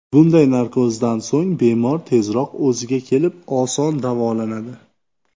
Bunday narkozdan so‘ng bemor tezroq o‘ziga kelib, oson davolanadi.